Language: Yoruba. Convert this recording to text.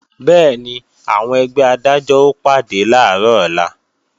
Bẹ́ẹ̀ni, àwọn ẹgbẹ́ Adájọ́ ó pàdé làárọ̀ ọ̀la